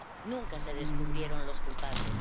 Nunca se descubrieron los culpables.